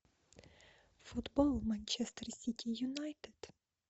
футбол манчестер сити юнайтед